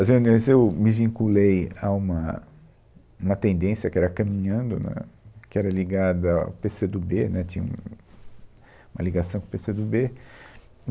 As reuniões eu me vinculei a uma, uma tendência que era caminhando, né, que era ligada ao Pê Cê do Bê, né, tinha uma ligação com o Pê Cê do Bê.